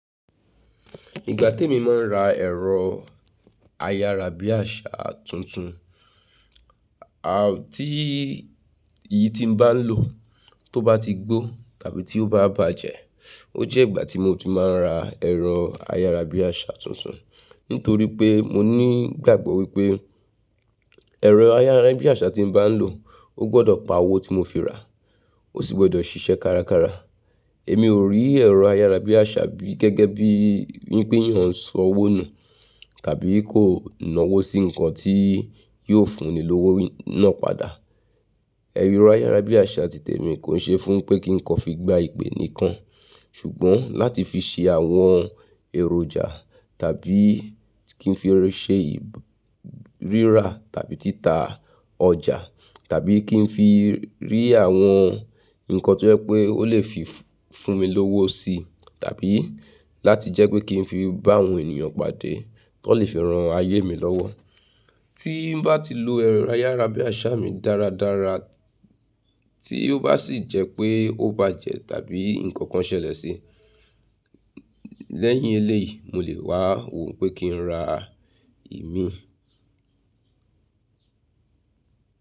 Ìga tèmi máa ń ra ẹ̀rọ ayárabíàṣá tuntun. À tí èyí tí mo bá ń lò tó bá ti gbó tàbí tí ó bá bàjẹ́. O jẹ ìgbà tí mo tun máa ra ẹ̀rọ ayárabíàṣá tuntun. Nítorí pé mo ní ìgbàgbọ́ wípé ẹ̀rọ ayárabíàṣá tín bá ń lò, ó gbọ́dọ̀ pa owó tí mo fi rà, ó sì gbọ́dọ̀ ṣíṣẹ́ kárakára. Èmi ò rí ẹ̀rọ ayárabíàṣá bí gẹ́gẹ́ bí wípé eyan ń sọ owó nù tàbí kò ń náwó sí nǹkan tí yóò fún ni lówó náà padà. Ẹ̀rọ ayárabíàṣá ti tèmi kò ń ṣe fún pé kí n kọ fi gba ìpè nìkan. Ṣùgbọ́n láti fi ṣe àwọn èròjà tàbí kí n fi ṣe rírà tàbí títà ọjà tàbí kí n fi rí àwọn nǹkan tó jẹ́ pé ó lè fi fún mi lówó sí tàbí láti jẹ́ pé kí n fi bá àwọn ènìyàn pàdé tó lè fi ran ayé mi lọ́wọ́. Tí n bá ti lo ẹ̀rọ ayárabíàṣá mi dáradára tí ó bá sì jẹ́ pé ó bàjẹ́ tàbí nǹkan kan ṣẹlẹ̀ sí i lẹ́yìn eléyìí, mo lè wá wò pé kí n ra ìmí.